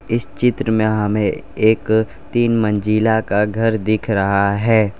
इस चित्र में हमें एक तीन मंजिला का घर दिख रहा है।